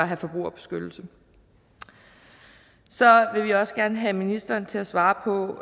have forbrugerbeskyttelse så vil vi også gerne have ministeren til at svare på